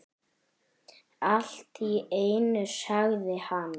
Allt í einu sagði hann